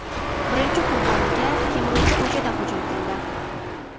Birinchi qurboniga kemiruvchi ko‘chada hujum qildi.